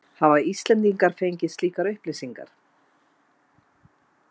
Hafa Íslendingar fengið slíkar upplýsingar?